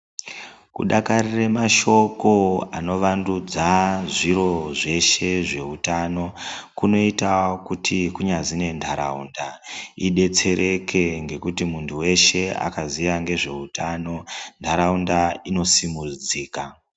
Kudakarire mashoko anovandudza zviro zveshe zveutano kunoita kuti kunyazi nendaraunda idetsereke ngekuti muntu weshe akaziya ngezveutano ndaraunda inosimudzika.